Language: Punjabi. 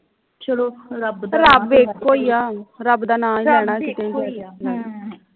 ਚਲੋ ਰੱਬ ਇਕੋ ਈ ਆ ਰੱਬ ਇਕ ਈ ਆ